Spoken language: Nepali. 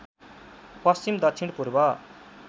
पश्चिम दक्षिण पूर्व